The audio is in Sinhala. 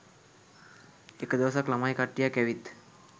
එක දවසක් ළමයි කට්ටියක් ඇවිත්